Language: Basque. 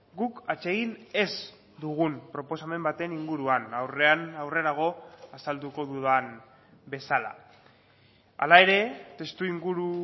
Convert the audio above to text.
guk atsegin ez dugun proposamen baten inguruan aurrean aurrerago azalduko dudan bezala hala ere testu inguru